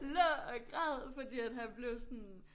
Lå og græd fordi at han blev sådan